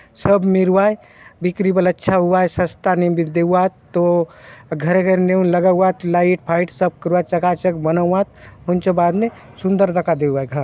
सब मिरुवाय बिक्री बले अच्छा होउआय सस्ता ने बले देऊआत तो घरे-घरे नेऊन लगाउआत चका चक बनाउआत हुन्चो बाद ने सुंदर दखा देवाय घर --